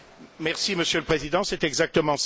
Monsieur le Président, c'est exactement cela.